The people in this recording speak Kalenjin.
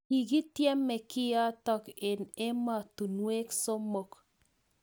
Kiketyeme kiatok eng e! emostunwek somok